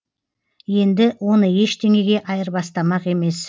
енді оны ештеңеге айырбастамақ емес